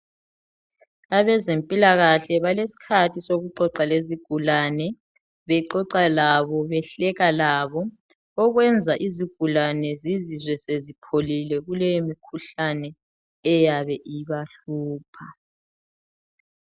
Abezempilakahle balesikhathi sokuxoxa lezigulani bexoxa labo behleka labo. Okwenza izigulani zizizwe sezipholile kuleyi mikhuhlane eyabe ibahlupha.